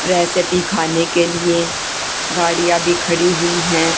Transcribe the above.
Recipe खाने के लिए गाड़ियां भी खड़ी हुई हैं।